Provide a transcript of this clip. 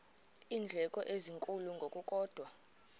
iindleko ezinkulu ngokukodwa